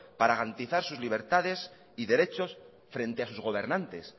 para garantizar sus libertades y derechos frente a sus gobernantes